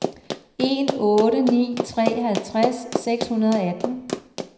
en otte ni tre halvtreds seks hundrede og atten